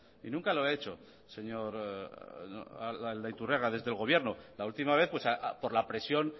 y nunca lo ha hecho señor aldaiturriaga desde el gobierno la última vez por la presión